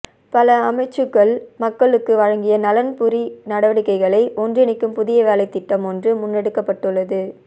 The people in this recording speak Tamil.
பல அமைச்சுக்கள் மக்களுக்கு வழங்கிய நலன்புரி நடவடிக்கைகளை ஒன்றிணைக்கும் புதிய வேலைத்திட்டம் ஒன்று முன்னெடுக்கப்பட்டுள்ளது